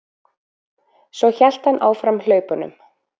Svo hélt hann áfram hlaupunum.